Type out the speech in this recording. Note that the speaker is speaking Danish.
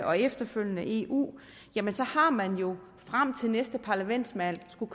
og efterfølgende eu jamen så har man jo frem til at næste parlamentsvalg skulle